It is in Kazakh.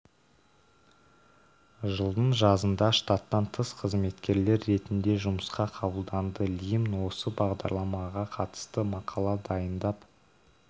жылдың жазында штаттан тыс қызметкер ретінде жұмысқа қабылданды лимн осы бағдарламаға қатысты мақала дайындап